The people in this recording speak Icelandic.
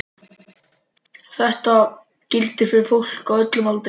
Þetta gildir fyrir fólk á öllum aldri.